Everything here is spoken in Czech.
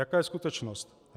Jaká je skutečnost?